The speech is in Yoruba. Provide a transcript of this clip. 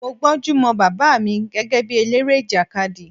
Mo gbónjú mọ Bàbá mi gẹ́gẹ́ bí eléré ìjàkadì.